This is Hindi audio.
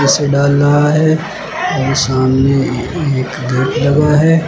इसे डाल रहा है और सामने एक गेट लगा है।